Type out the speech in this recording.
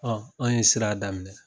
Ɔn an ye sira daminɛ